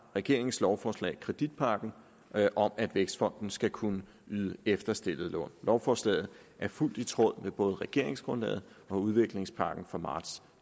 regeringens lovforslag kreditpakken om at vækstfonden skal kunne yde efterstillede lån lovforslaget er fuldt i tråd med både regeringsgrundlaget og udviklingspakken fra marts